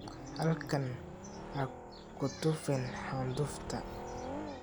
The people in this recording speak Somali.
Halkan ha ku tufin candufta.